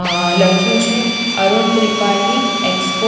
અ લખ્યું છે અરુણ ત્રિપાઠી એક્સપોર્ટ --